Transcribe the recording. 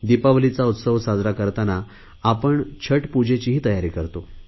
दिपावलीचा उत्सव साजरा करतांना आपण छठपूजेचीही तयारी करतो